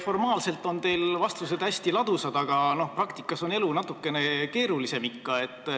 Formaalselt on teil hästi ladusad vastused, aga praktikas on elu ikka natukene keerulisem.